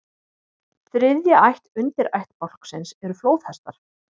Þriðja ætt undirættbálksins eru flóðhestar.